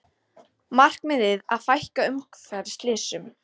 Markmiðið að fækka umferðarslysum